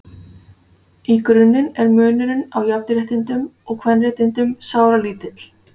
Í grunninn er munurinn á jafnréttindum og kvenréttindum sáralítill.